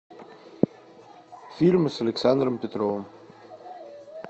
фильмы с александром петровым